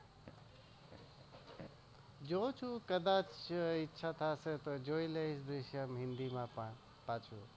જોઉં છુ કદાચ ઈચ્છા થશે તો જોઈ લઈશ હિન્દી માં પાછુ